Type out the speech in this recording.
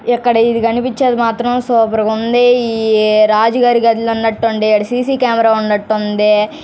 ఎక్కడికి కనిపించేది మాత్రం సూపర్ గా ఉంది. రాజు గారి గది అన్నట్టుండే సీసీ కెమెరా ఉన్నటు ఉంది.